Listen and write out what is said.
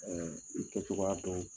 Ɛɛ i kɛ cogoya dɔn